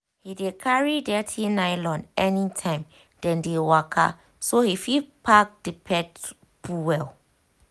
he dey carry dirt nylon anytime dem dey waka so he fit pack the pet poo well.